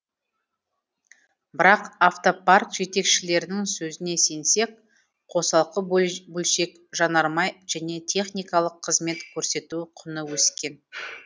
бірақ автопарк жетекшілерінің сөзіне сенсек қосалқы бөлшек жанармай және техникалық қызмет көрсету құны өскен